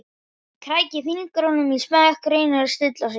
Hún krækir fingrum í smekkinn, reynir að stilla sig.